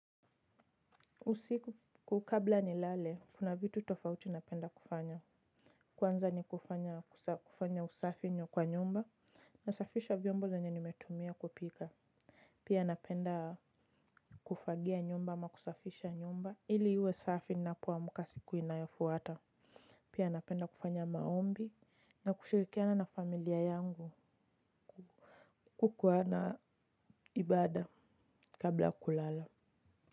Usiku kabla nilale, kuna vitu tofauti napenda kufanya. Kwanza ni kufanya usafi kwa nyumba, nasafisha vyombo zenye nimetumia kupika. Pia napenda kufagia nyumba ama kusafisha nyumba ili iwe safi napoamka siku inayofuata. Pia napenda kufanya maombi na kushirikiana na familia yangu kukua na ibada kabla kulala.